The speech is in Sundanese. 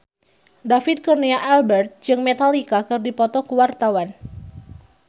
David Kurnia Albert jeung Metallica keur dipoto ku wartawan